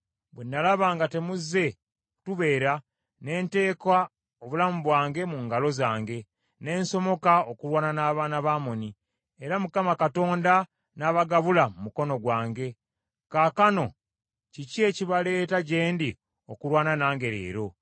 Bwe nalaba nga temuzze kutubeera, ne nteeka obulamu bwange mu ngalo zange, ne nsomoka okulwana n’abaana ba Amoni, era Mukama Katonda n’abagabula mu mukono gwange. Kaakano kiki ekibaleeta gye ndi okulwana nange leero?”